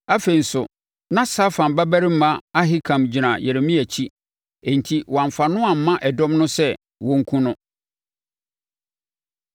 Afei nso, na Safan babarima Ahikam gyina Yeremia akyi, enti wɔammfa no amma ɛdɔm no sɛ wɔnkum no.